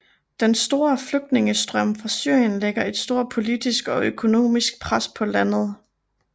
Den store flygtningestrøm fra Syrien lægger et stort politisk og økonomisk pres på landet